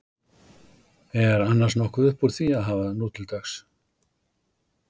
Er annars nokkuð uppúr því að hafa nútildags?